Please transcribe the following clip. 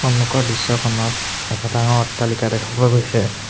সন্মুখৰ দৃশ্যখনত এখ ডাঙৰ অট্টালিকা দেখা পোৱা গৈছে।